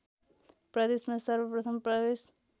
प्रदेशमा सर्वप्रथम प्रवेश